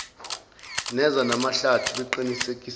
neza mahlathi beqinisekisile